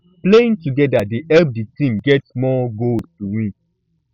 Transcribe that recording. playing together dey help di team get more goals to win